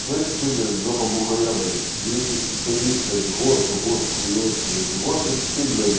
слышишь ты блять жопа бугая блять великий специалист блять госты госты хуёст блять гост это ты блять